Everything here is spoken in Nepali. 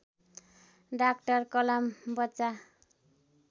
डाक्टर कलाम बच्चा